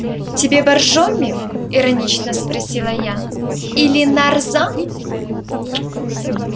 тебе боржоми иронично спросила я или нарзан